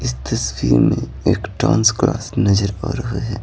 इस तस्वीर में एक टांस क्लास नजर आ रहा है।